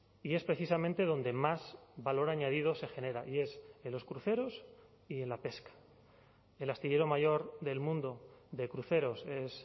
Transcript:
y es precisamente donde más valor añadido se genera y es en los cruceros y en la pesca el astillero mayor del mundo de cruceros es